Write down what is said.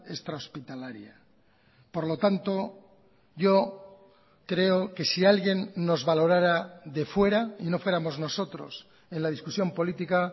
extrahospitalaria por lo tanto yo creo que si alguien nos valorara de fuera y no fuéramos nosotros en la discusión política